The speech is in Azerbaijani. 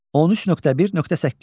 13.1.8.